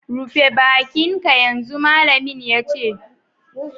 Rufe baki'n ka yanzu, malamin ya ce.